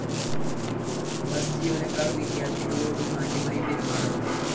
bus ജീവനക്കാര്‍ വിദ്യാര്‍ഥികളോടു മാന്യമായി പെരുമാറണം